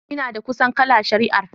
Ina da kusan kala shari'ar.